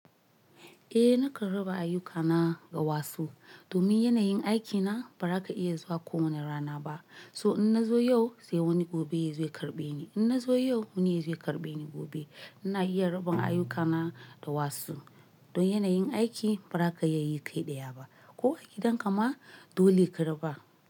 Eh nakan raba ayyukana, ga wasu. Domin yanayin aikina, ba za ka iya zuwa ko wane rana ba. So, in na zo yau, sai wani gobe ya zo ya karɓe ni. In na zo yau, wani ya zo ya karɓe ni gobe. Ina iya raban ayyukana da wasu. Don yanayin aiki, ba za ka iya yi kai ɗaya ba. Ko a gidan ka ma, dole ka raba.